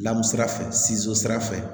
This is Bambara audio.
Lamu sira fɛ sira fɛ